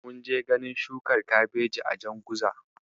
Mun je ganin shukar Kabeji a Janguza.